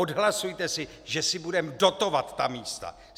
Odhlasujte si, že si budeme dotovat ta místa!